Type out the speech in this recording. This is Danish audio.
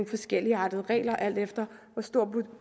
forskelligartede regler alt efter hvor store